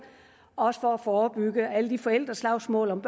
også for at forebygge alle de forældreslagsmål om